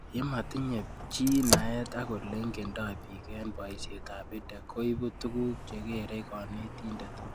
Ye matinye chii naet ak ole ingendoi pik eng' poishet ab EdTech ko ipu tuguk che kerei kanetindet